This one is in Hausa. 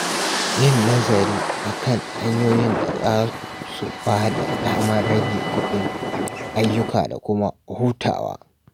Yin nazari a kan hanyoyin da za su ba da damar rage kuɗin ayyuka da kuma hutawa.